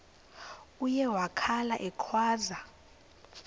uye wakhala ekhwaza